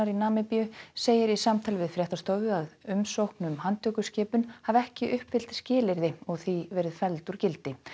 í Namibíu segir í samtali við fréttastofu að umsókn um handtökuskipun hafi ekki uppfyllt skilyrði og því verið felld úr gildi